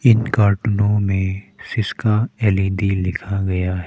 इन कार्टूनों में सिस्का एल_इ_डी लिखा गया है।